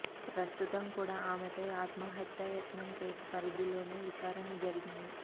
ప్రస్తుతం కూడా ఆమెపై ఆత్మహత్యం యత్నం కేసు పరిధిలోనే విచారణ జరిగింది